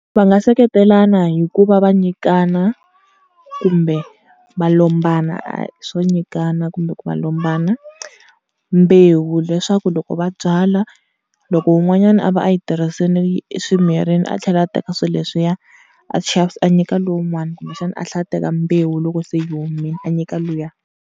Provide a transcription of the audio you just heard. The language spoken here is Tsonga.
Va nga seketelana hikuva va nyikana kumbe va lombana, swo nyikana kumbe ku va lombana mbewu leswaku loko va byala loko wun'wanyana a va a yi tirhisini swi mirile, a tlhela a teka swilo leswiya a a nyika lowun'wani kumbexana a tlhela a teka mbewu loko se yi omile a nyika luya.